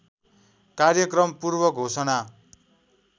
कार्यक्रम पूर्व घोषणा